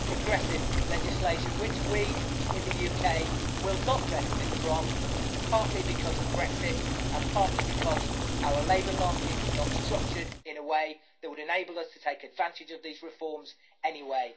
Progressive legislation, which we in the UK will not benefit from, partly because of Brexit and partly because our labour market is not structured in a way that would enable us to take advantage of these reforms anyway.